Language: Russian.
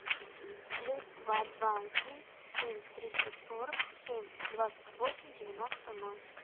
плюс два два один семь триста сорок семь двадцать восемь девяносто ноль